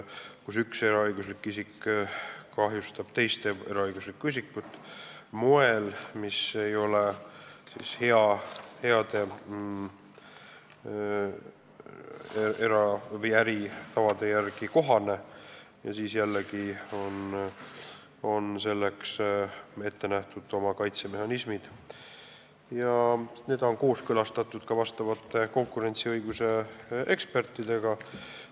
Kui üks eraõiguslik isik kahjustab teist eraõiguslikku isikut moel, mis ei ole hea äritava kohane, siis on jällegi ette nähtud omad kaitsemehhanismid ja need on kooskõlastatud ka konkurentsiõiguse ekspertidega.